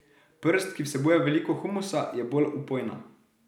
Prst, ki vsebuje veliko humusa, je bolj vpojna.